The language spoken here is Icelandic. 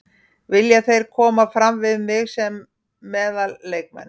Vilja þeir koma fram við mig sem meðal leikmann.